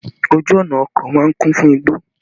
Ojú ọ̀nà oko máa ń kún fún igbó